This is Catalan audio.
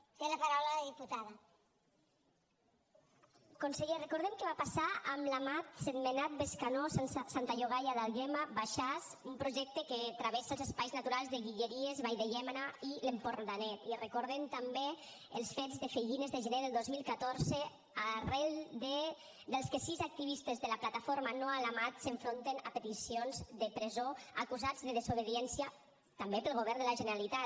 conseller recordem què va passar amb la mat sentmenat bescanó santa llogaia d’àlguema baixàs un projecte que travessa els espais naturals de guilleries vall de llémena i l’empordanet i recordem també els fets de fellines de gener del dos mil catorze arran dels quals sis activistes de la plataforma no a la mat s’enfronten a peticions de presó acusats de desobediència també pel govern de la generalitat